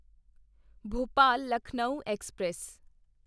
Bhopal Lucknow express